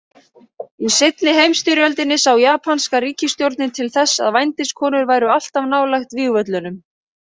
Í seinni heimsstyrjöldinni sá japanska ríkisstjórnin til þess að vændiskonur væru alltaf nálægt vígvöllunum.